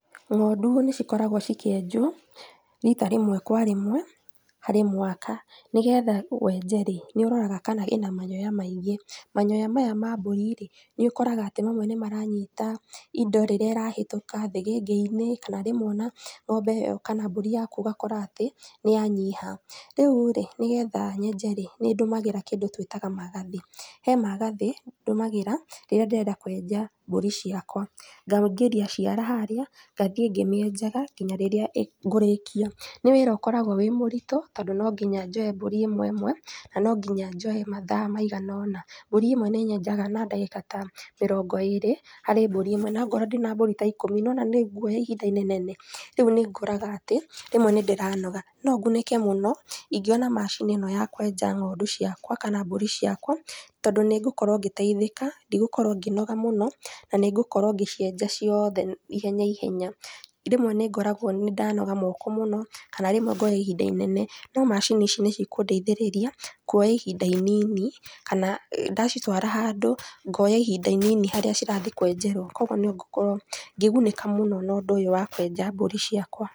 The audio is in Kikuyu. Ng'ondu nĩcikoragwo cikĩenjwo rita rĩmwe kwa rĩmwe, harĩ mwaka, nĩgetha wenje rĩ, nĩúroraga kana ĩna manyoya maingĩ, manyoya maya ma mbũri rĩ, nĩũkoraga atĩ rĩmwe nĩmaranyita indo rĩrĩa ĩrahetũka, thĩgĩngĩ-inĩ, kana rĩmwe ona ũngĩheo kana mbũri ũgakora atĩ, nĩyanyiha, rĩurĩ, nĩgetha nyenje rĩ, nĩndũmagĩra kĩndũ twĩtaga magathĩ, he magathĩ ndũmagĩra, rĩrĩa ndĩrenda kwenja mbũri ciakwa. Ngawũingĩria ciara harĩa, ngathiĩ ngĩmĩenjaga, nginya rĩrĩa ĩ ngũrĩkia, nĩ wĩra ũkoragwo wĩ mũritũ, tondũ nonginya njoe mbũri ĩmwe ĩmwe, na nonginya njoe mathaa maiganona, mbũri ĩmwe nĩnyenjaga na ndagĩka ta mĩrongo ĩrĩ harĩ mbúri ĩmwe, nakorwo ndĩna mbũri ta ikũmi nĩwona nĩngwoya ihinda inenanene, ríu nĩũkoraga atĩ, rĩmwe nĩndĩranoga, nongunĩke mũno, ingĩona macini ĩno ya kwenja ng'ondu ciakwa na mbũri ciakwa, tondũ nĩngũkorwo ngĩteithĩka, ndigũkorwo ngĩnoga mũno, na nĩngũkorwo ngĩcienja ciothe ihenya ihenya. Rĩmwe nĩngoragwo nĩndanoga moko mũno, kana rímwe ngoya ihinda inene, rĩu macini ici nĩcikũndeithĩrĩria, kuoya ihinda inini, kana ndacitwara handũ, ngonya ihinda inini harĩa cirathii kwenjerwo, koguo nĩngũkorwo ngĩgunĩka mũno nondũ ũyũ wa kwenja ng'ondu ciakwa.